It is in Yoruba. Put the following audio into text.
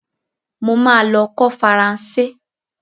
Mo ma lọ kọ́ Faranse.